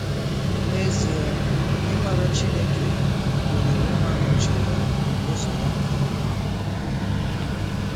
N'ezie ịmara Chineke gụnyere ịmara uche ya na ụzọ ya nke ọma.